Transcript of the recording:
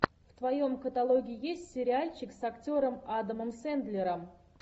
в твоем каталоге есть сериальчик с актером адамом сэндлером